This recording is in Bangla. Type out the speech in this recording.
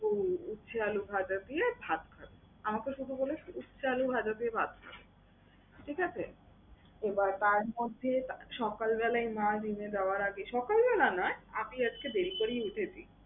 হুম সে আলু ভাজা দিয়ে ভাত খাবে। আমাকে শুধু বলেছে উস্তা, আলু ভাজা দিয়ে ভাত খাবে, ঠিক আছে? তো তার মধ্যে সকালবেলাই মার gym এ যাওয়ার আগে, সকালবেলা না আমি আজকে দেরি করেই উঠেছি।